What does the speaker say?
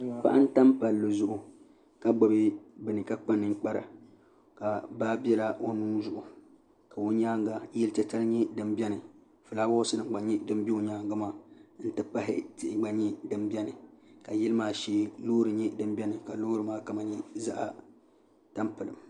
paɣa n tam palli zuɣu ka gbubi bini ka kpa ninkpara ka baa biɛla o nuu zuɣu ka o nyaanga yili titali nyɛ din biɛni ka fulaawaasi nim gba bɛ o nyaangi maa n ti pahi tihi gba nyɛ din biɛni ka yili maa shee loori nyɛ din biɛni ka loori maa kama nyɛ zaɣ tampilim